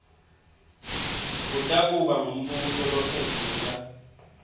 kutakuba ngumbuso lophendvula